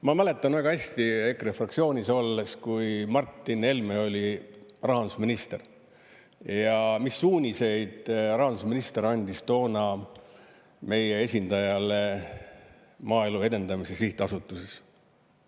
Ma mäletan väga hästi EKRE fraktsioonis olles, kui Martin Helme oli rahandusminister, mis suuniseid rahandusminister andis toona meie esindajale Maaelu Edendamise Sihtasutuses.